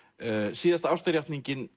síðasta